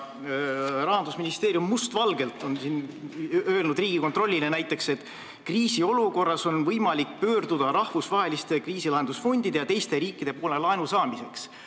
Rahandusministeerium on must valgel öelnud näiteks Riigikontrollile, et kriisiolukorras on võimalik pöörduda rahvusvaheliste kriisilahendusfondide ja teiste riikide poole laenu saamiseks.